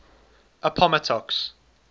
appomattox